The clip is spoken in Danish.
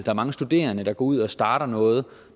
er mange studerende der går ud og starter noget